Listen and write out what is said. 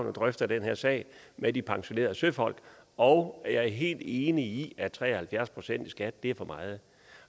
og drøfter den her sag med de pensionerede søfolk og jeg er helt enig i at tre og halvfjerds procent i skat er for meget